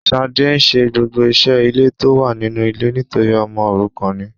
Shade nse gbogbo ise ile to wa ninu ile nitori omo orukan ni